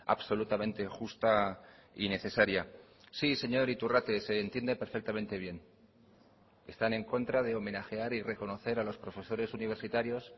absolutamente justa y necesaria sí señor iturrate se entiende perfectamente bien están en contra de homenajear y reconocer a los profesores universitarios